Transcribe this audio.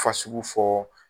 Fasugu fɔɔ